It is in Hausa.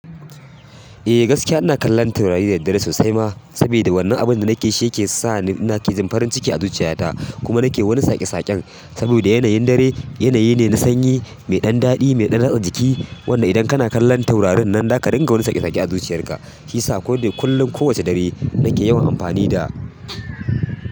E gaskiya ina kallon taurari da daddare sosai ma, sabida wannan abin da nake shi yake sa ni in nake jin farin ciki a zuciya ta kuma nake wani saƙe saƙen, saboda yanayin dare yanayi ne na sanyi mai ɗan daɗi mai ɗan ratsa jiki. Wanda idan kana kallon taurarin nan zaka ringa wani saƙe-saƙe a zuciyar ka, shi yasa koda kullum kowace dare nake yawan amfani da.